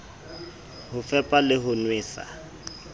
ho fepa le ho nwesa